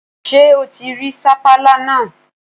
Ṣé o ti rí sapala náà?